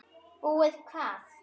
Búið hvað!